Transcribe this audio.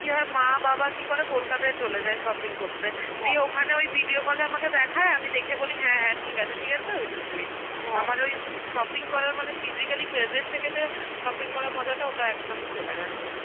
কি হয় মা বাবা কি করে, কলকাতায় চলে যায় shopping করতে. দিয়ে ওখানে ওই video call এ আমাকে দেখায়, আমি দেখে বলি হ্যাঁ হ্যাঁ ঠিক আছে, ওইটুকুই. আমার ওই shopping করা মানে physically present থেকে তে shopping করার মজাটা ওইটা একদমই চলে গেছে.